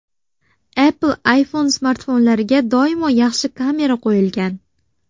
Apple iPhone smartfonlariga doimo yaxshi kamera qo‘yilgan.